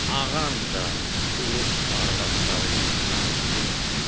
Ağam da Urus arvadları ilə danışdımı?